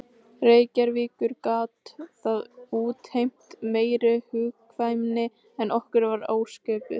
Reykjavíkur gat það útheimt meiri hugkvæmni en okkur var ásköpuð.